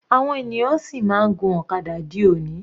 Àwọn ènìyàn sì máa ń gun ọ̀kadà di òní.